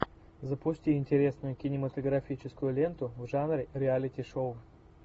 запусти интересную кинематографическую ленту в жанре реалити шоу